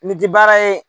Nin tɛ baara ye